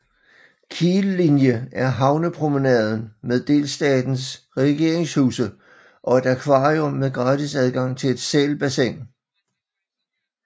Kiellinie er havnepromenaden med delstatens regeringshuse og et akvarium med gratis adgang til et sælbassin